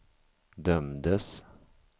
dömdes